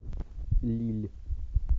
лилль